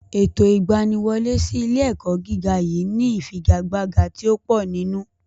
Ètò ìgbaniwọlé sí ilé-ẹ̀kọ́ gíga yìí ni ìfigagbága tí ó pò nínú.